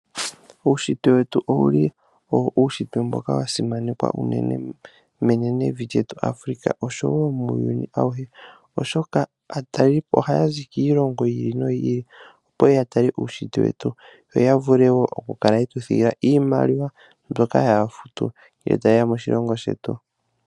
Uunshitwe wetu owuli owo uunshitwe mboka wa simanekwa unene menenevi lyetu Africa, oshowo muuyuni awuhe, oshoka aatalelipo haya zi kiilongo yi ili noyi ili opo yeye ya tale uunshitwe wetu. Yo ya vule woo oku kala yetu thigila iimaliwa mbyoka haya futu, uuna ta yeya moshilongo shetu.